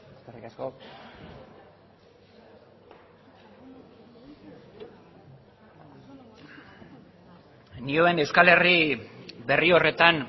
eskerrik asko nioen euskal herri berri horretan